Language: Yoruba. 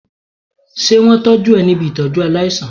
Ṣé wón tọ́jú ẹ ní ibi Ìtọ́jú aláìsàn?